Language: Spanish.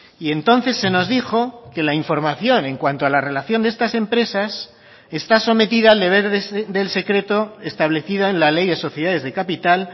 y entonces se nos dijo que la información en cuanto a la relación de estas empresas está sometida al deber del secreto establecida en la ley de sociedades de capital